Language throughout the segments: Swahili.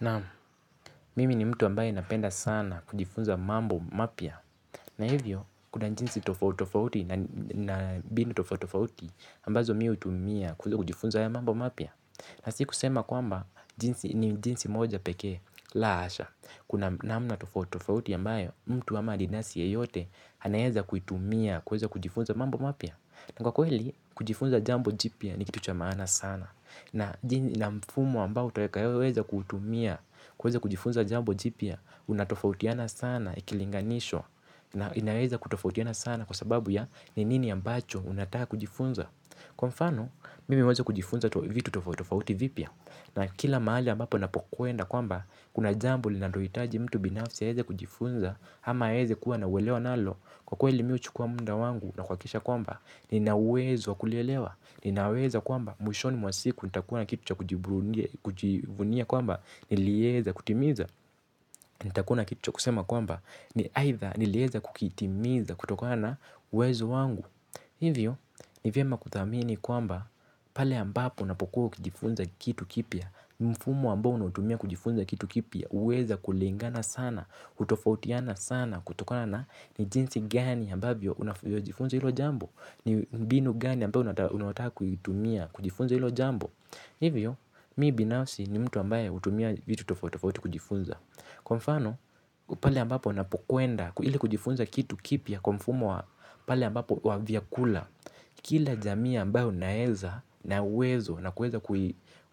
Naam, mimi ni mtu ambaye napenda sana kujifunza mambo mapya. Na hivyo, kuna jinsi tofautitofauti na mbinu tofautitofauti ambazo mi hutumia kujifunza mambo mapya. Na sikusema kwamba, ni jinsi moja pekee, la hasha. Kuna namna tofautitofauti ambayo, mtu ama adinasi yeyote, anaweza kuitumia kuweza kujifunza mambo mapya. Na kwa kweli, kujifunza jambo jipya ni kitu cha maana sana. Na mfumo ambao utakayoweza kuutumia, kuweza kujifunza jambo jipya, unatofautiana sana ikilinganishwa, na inaweza kutofautiana sana kwa sababu ya ni nini ambacho unataka kujifunza. Kwa mfano, mimi huweza kujifunza vitu tofautofauti vipya, na kila mahali ambapo napokwenda kwamba, kuna jambo linalohitaji mtu binafsi aweze kujifunza, ama aeze kuwa na uelewa nalo, kwa kweli mi huchukua muda wangu na kuhakikisha kwamba nina uwezo wa kulielewa, ninaweza kwamba mwishoni mwa siku, nitakuwa na kitu cha kujivunia kwamba nilieza kutimiza, nitakuwa na kitu cha kusema kwamba ni aidha, niliweza kukitimiza kutokana na uwezo wangu. Hivyo, ni vyema kuthamini kwamba pale ambapo unapokuwa ukijifunza kitu kipya, mfumo ambao unautumia kijifunza kitu kipya huweza kulingana sana, hutofautiana sana, kutokona na ni jinsi gani ambavyo unavyojifunza hilo jambo. Ni mbinu gani ambayo unayotaka kuitumia, kujifunza hilo jambo. Hivyo, mi binafsi ni mtu ambaye hutumia vitu tofautitofauti kujifunza. Kwa mfano, pale ambapo napokwenda, ili kujifunza kitu kipya kwa mfumo wa pale ambapo wa vyakula kila jamii ambayo naeza na uwezo na kuweza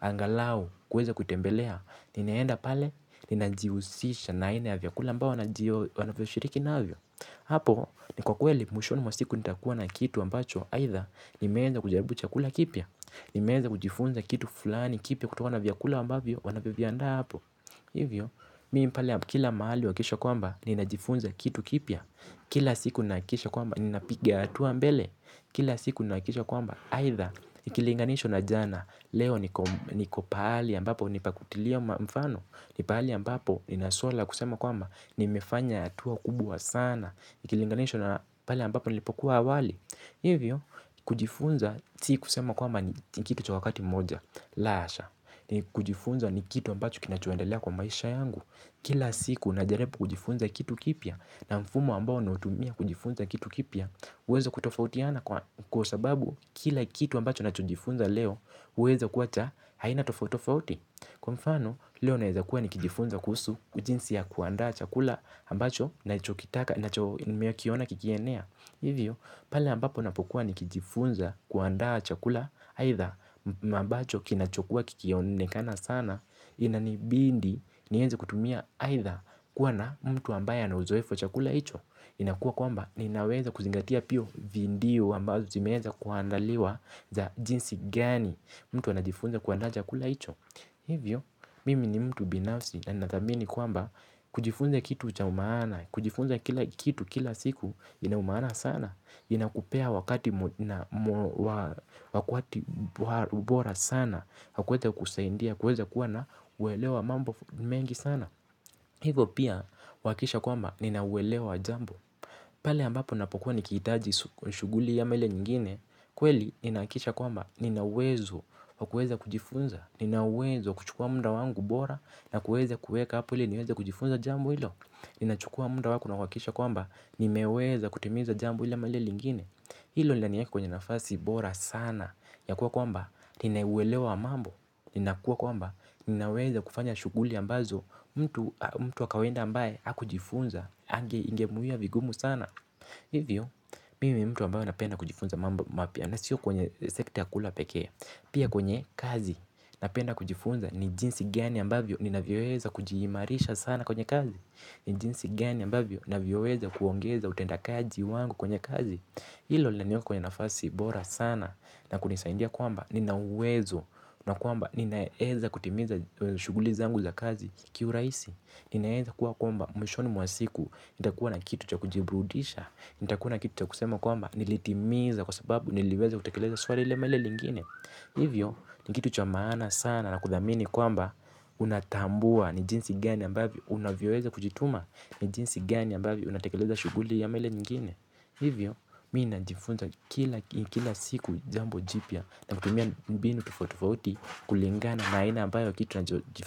angalau, kuweza kuitembelea ninaenda pale, ninajihusisha na aina ya vyakula ambao wanajio, wanavyoshiriki navyo. Hapo, ni kwa kweli, mwishoni mwa siku nitakuwa na kitu ambacho aidha, nimeweza kujaribu chakula kipya. Nimeweza kujifunza kitu fulani kipya kutokana na vyakula ambavyo, wanavyoviandaa hapo. Hivyo, mimi pale, kila mahali huhakikisha kwamba, ninajifunza kitu kipya. Kila siku nahakikisha kwamba, ninapiga hatua mbele. Kila siku nahakikisha kwamba, aidha, ikilinganishwa na jana leo niko pahali ambapo ni pa kutilia mfano. Ni pahali ambapo nina suala ya kusema kwamba nimefanya hatua kubwa sana, ikilinganishwa na pale ambapo nilipokuwa awali. Hivyo kujifunza si kusema kwamba ni kitu cha wakati mmoja. La hasha, ni kujifunza ni kitu ambacho kinachoendelea kwa maisha yangu. Kila siku najaribu kujifunza kitu kipya. Na mfumo ambao nautumia kujifunza kitu kipya huweza kutofautiana kwa sababu kila kitu ambacho nachojifunza leo huweza kuwacha aina tofautofauti. Kwa mfano leo naweza kuwa nikijifunza kuhusu jinsi ya kuandaa chakula ambacho nachokitaka nimekiona kikienea. Hivyo pale ambapo napokuwa nikijifunza, kuandaa chakula aidha ambacho kinachokua kikionekana sana. Inanibidi niweze kutumia aidha kuwa na mtu ambaye ana uzoefu wa chakula hicho. Inakua kwamba ninaweza kuzingatia pia video ambazo zimeweza kuandaliwa za jinsi gani mtu anajifunza kuandaa chakula hicho. Hivyo mimi ni mtu binafsi na ninathamini kwamba kujifunza kitu cha umaana kujifunza kila kitu kila siku ina umaana sana. Inakupea wakati bora sana wa kuweza kusaidia kuweza kuwa na uelewa wa mambo mengi sana. Hivyo pia huhakikisha kwamba nina uelewa wa jambo. Pale ambapo napokua nikihitaji shughuli ama ile nyingine, kweli ninahakikisha kwamba nina uwezo wa kuweza kujifunza, nina uwezo wa kuchukua muda wangu bora na kuweza kuweka hapo ili niweze kujifunza jambo hilo, ninachukua muda wangu na kuhakikisha kwamba nimeweza kutimiza jambo hili ama lile lingine. Hilo linaniweka kwenye nafasi bora sana ya kuwa kwamba nina uelewa wa mambo. Ninakuwa kwamba ninaweza kufanya shughuli ambazo mtu wa kawaida ambaye hakujifunza ange ingemwia vigumu sana. Hivyo, mimi ni mtu ambayo napenda kujifunza mambo mapya na sio kwenye sekta ya kula pekee. Pia kwenye kazi napenda kujifunza ni jinsi gani ambavyo ninavyoweza kujiimarisha sana kwenye kazi. Ni jinsi gani ambavyo navyoweza kuongeza utendakaji wangu kwenye kazi. Hilo linaniweka kwenye nafasi bora sana na kunisaidia kwamba nina uwezo na kwamba ninaeza kutimiza shughuli zangu za kazi kiurahisi. Ninaeza kuwa kwamba mwishoni mwa siku nitakuwa na kitu cha kujiburudisha. Nitakuwa na kitu cha kusema kwamba nilitimiza kwa sababu niliweza kutekeleza swali lile ama lile lingine. Hivyo ni kitu cha maana sana na kuthamini kwamba unatambua ni jinsi gani ambavyo unavyoweza kujituma. Ni jinsi gani ambavyo unatekeleza shughuli ama ile lingine. Hivyo, mi najifunza kila siku jambo jipya na kutumia mbinu tofautitofauti kulingana na aina ambayo kitu najifunza.